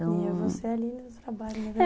E eu vou ser ali no trabalho.